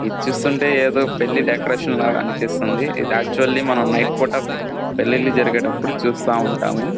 ఇది చూస్తూ ఉంటే ఏదో పెళ్లి డెకరేషన్ లాగా అనిపిస్తుంది ఇది యాక్చువల్లీ మనం నైట్ పూట పెళ్లిళ్లు జరిగేటప్పుడు చూస్తా ఉంటాము.